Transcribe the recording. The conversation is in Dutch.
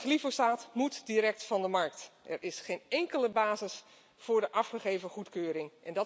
Glyfosaat moet direct van de markt, want er is geen enkele basis voor de afgegeven goedkeuring.